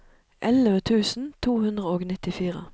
elleve tusen to hundre og nittifire